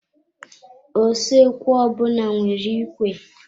Usoekwu ọbụna nwere ikwe.